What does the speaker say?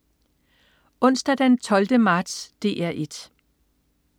Onsdag den 12. marts - DR 1: